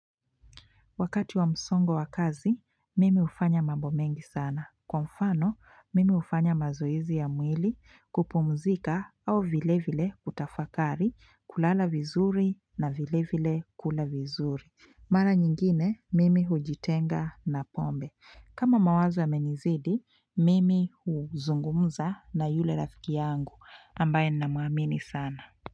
Wakati wa msongo wa kazi, mimi ufanya mambo mengi sana. Kwa mfano, mimi ufanya mazoezi ya mwili kupomzika au vile vile kutafakari kulala vizuri na vile vile kula vizuri. Mara nyingine, mimi hujitenga na pombe. Kama mawazo yamenizidi, mimi huzungumza na yule rafiki yangu ambaye na muamini sana.